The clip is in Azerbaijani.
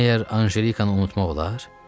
Məyər Anjelikanı unutmaq olar?